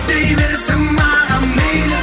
дей берсін маған мейлі